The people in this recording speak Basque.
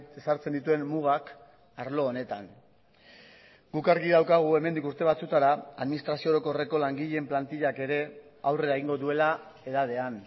ezartzen dituen mugak arlo honetan guk argi daukagu hemendik urte batzuetara administrazio orokorreko langileen plantillak ere aurrera egingo duela edadean